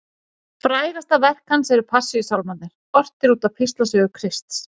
Frægasta verk hans eru Passíusálmarnir, ortir út af píslarsögu Krists.